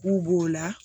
K'u b'o la